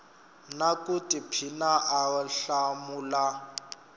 na ku tiphina a hlamula